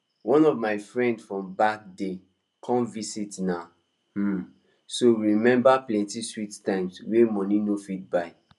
one of my friend from back day come visit na um so we remember plenty sweet times wey money no fit buy